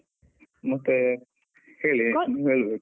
ಮತ್ತೆ ಹೇಳಿ ಹೇಳ್ಬೇಕು.